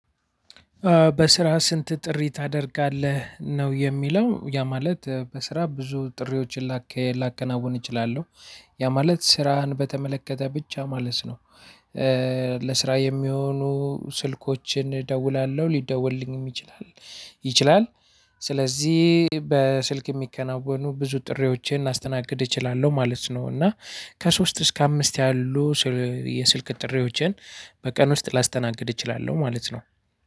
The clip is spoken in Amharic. በስራ ስንት ጥሪ ታደርጋለህ ነው የሚለው ያ ማለት? በስራ ብዙ ጥሪዎችን ላከናውን እችላለሁ። ያ ማለት ስራህን በተመለከተ ብቻ ማለት ነው። ስራ የሚሆኑ ስልኮችን እደውላለሁ ሊደወልልኝም ይችላል ይችላል። ስለዚህ በስልክ የሚከናወኑ ብዙ ጥሪዎችን ላስተናግድ እችላለሁ ማለት ነው። እና ከሶስት እስከ አምስት ያሉ የስልክ ጥሪዎችን በቀን ውስጥ ላስተናግድ እችላለሁ ማለት ነው።